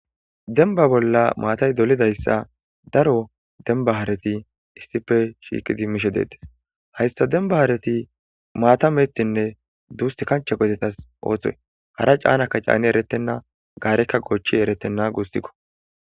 denba bolla maatay dolidayssa daro denba haarati issife shiiqidi mishe deetes hayssa dembahaarati maata meeththinne duust kancha qezetas ooththoy hara caanakka caani erettenna gaarekka goochchi eretenna guustikko